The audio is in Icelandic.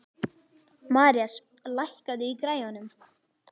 Marías, lækkaðu í græjunum.